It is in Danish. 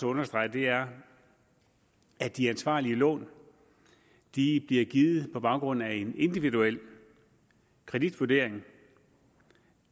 understrege er at de ansvarlige lån bliver givet på baggrund af en individuel kreditvurdering